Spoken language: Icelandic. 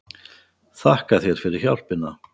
Þakka þér fyrir hjálpina